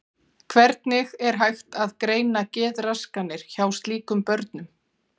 Hvernig er hægt að greina geðraskanir hjá slíkum börnum?